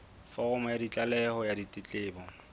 foromo ya tlaleho ya ditletlebo